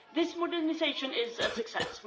This modernisation is a success.